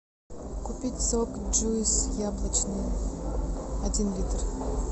купить сок джуйс яблочный один литр